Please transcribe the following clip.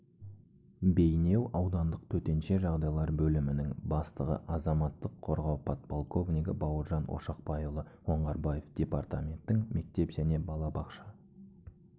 бейнеу аудандық төтенше жағдайлар бөлімінің бастығы азаматтық қорғау подполковнигі бауыржан ошақбайұлы оңғарбаев департаменттің мектеп және балабақша